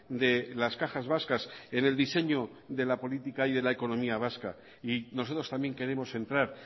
de las cajas vascas en el diseño de la política y de la economía vasca y nosotros también queremos entrar